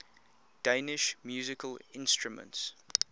danish musical instruments